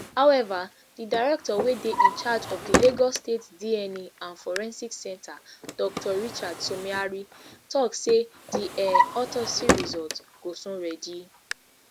however di director wey dey incharge of di lagos state dna and forensic centre dr richard somiari tok say di um autopsy result go soon ready